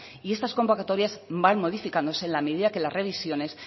y estas convocatorias van modificándose en la medida que las revisiones